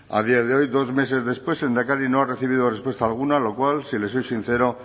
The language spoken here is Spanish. a día de hoy dos meses después el lehendakari no ha recibido respuesta alguna lo cual si le soy sincero